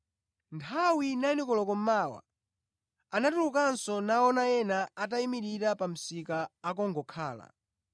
“Nthawi 9 koloko mmawa, anatulukanso naona ena atayimirira pa msika akungokhala.